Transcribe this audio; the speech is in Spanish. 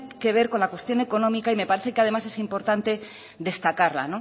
que ver con la cuestión económica y me parece que además es importante destacarla